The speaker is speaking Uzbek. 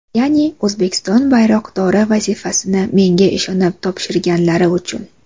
Ya’ni O‘zbekiston bayroqdori vazifasini menga ishonib topshirganlari uchun.